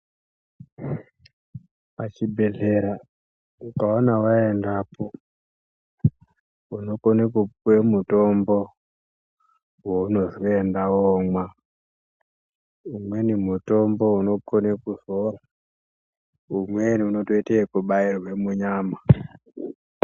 Pachibhedhleya ukaona waendapo unokone kupuwe mutombo waunozwi enda womwa umweni mutombo unokone kuzora umweni unotoite ekubairwe munyama.